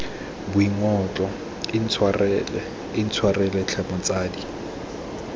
boingotlo intshwarele intshwarele tlhe motsadi